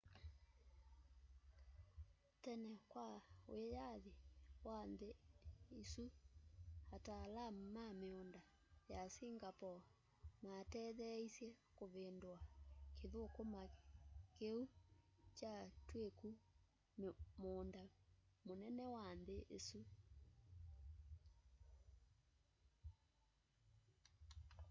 tene kwa wĩyathĩ wa nthĩ ĩsũ ataalamũ ma mĩũnda ya singapore matetheeĩsye kũvĩndũa kĩthũkũma kĩũ kyatwĩkũ mũũnda mũnene wa nthĩ ĩsũ